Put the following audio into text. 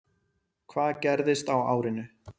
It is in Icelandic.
Hvað gerðist á árinu?